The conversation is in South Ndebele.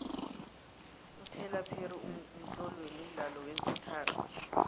utylor perry mtloli wemidlalo wezothando